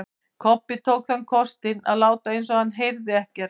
Kobbi tók þann kostinn að láta eins og hann heyrði ekkert.